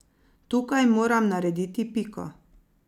Tukaj moram narediti piko.